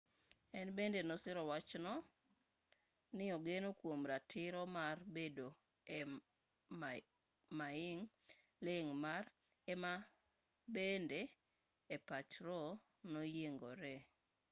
en bende ne osiro wachno ni ogeno kuom ratiro mar bedo e maing' ling' ma ema bende e pach roe noyiengoree